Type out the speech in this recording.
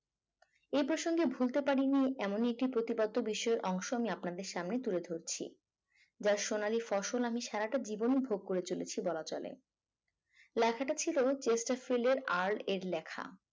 এই প্রসঙ্গে ভুলতে পারিনি এমন একটি প্রতিপাদ্য বিষয়ের অংশ আমি আপনাদের সামনে তুলে ধরছি। যা সোনালী ফসল আমি সারাটা জীবনে ভোগ করে চলেছি বলা চলে। লেখাটা ছিল চেষ্টাফিলের আর এর লেখা।